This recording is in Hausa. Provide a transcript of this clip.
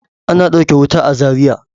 Ana ɗauke wuta a Zariya.